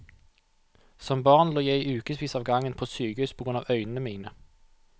Som barn lå jeg i ukevis av gangen på sykehus på grunn av øynene mine.